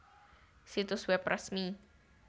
Situs web resmi